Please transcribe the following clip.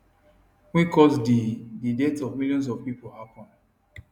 wey cause di di deaths of millions of pipo happen